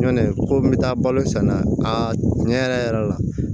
Ɲɔ ko n be taa balo san a ɲɛ yɛrɛ yɛrɛ la